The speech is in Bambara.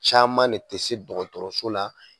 Caman de tɛ se dɔgɔtɔrɔso la